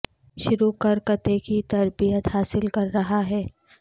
شروع کر کتے کی تربیت حاصل کر رہا ہے